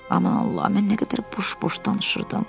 Aman Allah, mən nə qədər boş-boş danışırdım.